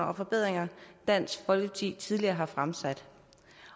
om forbedringer dansk folkeparti tidligere har fremsat